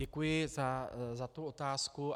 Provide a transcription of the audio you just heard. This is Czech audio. Děkuji za tu otázku.